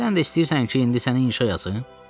Sən də istəyirsən ki, indi sənə inşa yazım?